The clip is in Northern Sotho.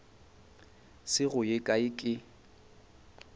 se go ye kae ke